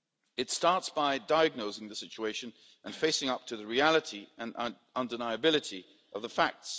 It starts by diagnosing the situation and facing up to the reality, and undeniability of the facts.